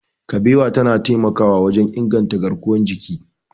Kabewa tana taimakawa wajen inganta garkuwar jiki.